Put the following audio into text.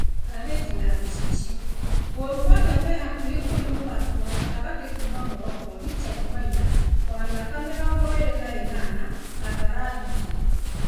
(Ngathĩti ya gĩcicio) Gor Mahia mehakuhĩ kũhe mũthaki wa gatagatĩ kuma Morocco Richard Maina wa mĩaka mĩrongo ĩrĩ na ĩnana kandarathi njerũ.